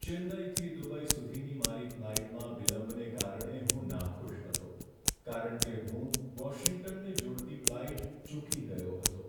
ચેન્નઈથી Dubai સુધીની મારી ફ્લાઇટમાં વિલંબને કારણે હું નાખુશ હતો કારણ કે હું વોશિંગ્ટનને જોડતી ફ્લાઇટ ચૂકી ગયો હતો.